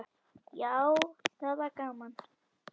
Já, það var gaman!